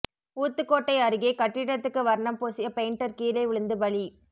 ஊத்துக்கோட்டை அருகே கட்டிடத்துக்கு வர்ணம் பூசிய பெயிண்டர் கீழே விழுந்து பலி